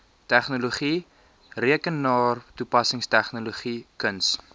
tegnologie rekenaartoepassingstegnologie kuns